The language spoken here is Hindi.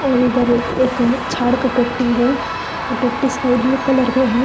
और इधर एक झाड़ है वो स्काई ब्लू कलर का है।